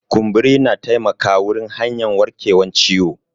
Kumburi na taimaka wurin hanyan warkewan ciwo.